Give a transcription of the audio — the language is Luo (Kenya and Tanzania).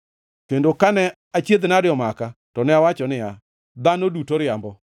Kendo kane achiedh-nade omaka, to ne awacho niya, “Dhano duto riambo.”